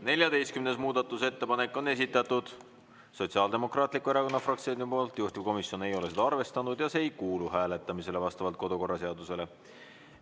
14. muudatusettepaneku on esitanud Sotsiaaldemokraatliku Erakonna fraktsioon, juhtivkomisjon ei ole seda arvestanud ja see ei kuulu hääletamisele vastavalt kodukorraseadusele.